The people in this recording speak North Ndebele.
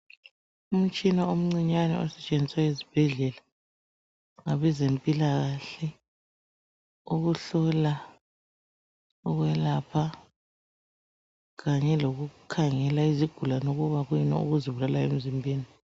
Umtshina omncinyane osetshenziswa ezibhedlela ngabezempilakahle ukuhlola, ukwelapha kanye lokukhangela izigulane ukuba kuyini okuzibulalayo emzimbeni.